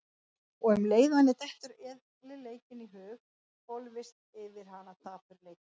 Og um leið og henni dettur eðlileikinn í hug hvolfist yfir hana dapurleiki.